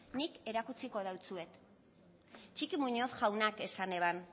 nik erakutsiko deutsuet txiki muñozek jaunak esan eban